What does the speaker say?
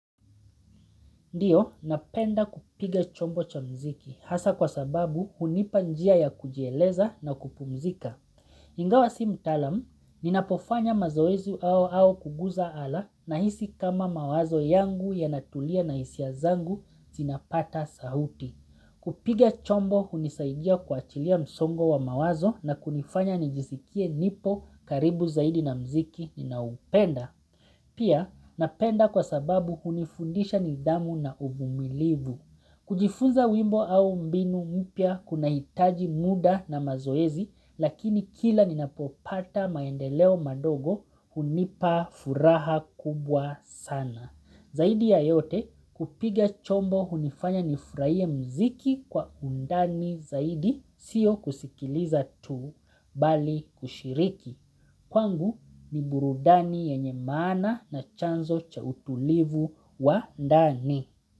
Ndiyo, napenda kupiga chombo cha mziki hasa kwa sababu hunipanjia ya kujieleza na kupumzika. Ingawa si mtalam, ninapofanya mazoezi au au kuguza ala na hisi kama mawazo yangu ya natulia na hisia zangu zinapata sauti. Kupiga chombo hunisaidia kuachilia msongo wa mawazo na kunifanya nijisikie nipo karibu zaidi na mziki ninaupenda. Pia napenda kwa sababu hunifundisha ni dhamu na umumilivu. Kujifunza wimbo au mbinu mupia kuna hitaji muda na mazoezi lakini kila ninapopata maendeleo madogo hunipa furaha kubwa sana. Zaidi ya yote kupiga chombo hunifanya nifrahie mziki kwa undani zaidi siyo kusikiliza tu bali kushiriki. Kwangu ni burudani yenye maana na chanzo cha utulivu wa ndani.